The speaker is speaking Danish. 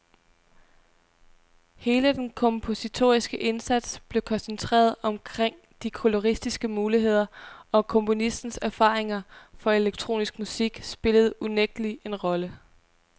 Hele den kompositoriske indsats blev koncentreret omkring de koloristiske muligheder, og komponistens erfaringer fra elektronisk musik spillede unægtelig en rolle.